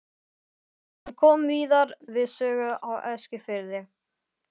Hann kom víðar við sögu á Eskifirði.